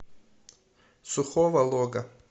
сухого лога